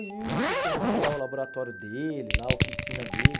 Hilton, conheci lá o laboratório dele, lá a oficina dele.